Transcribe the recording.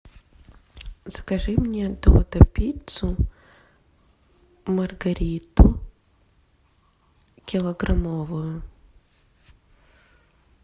закажи мне додо пиццу маргариту килограммовую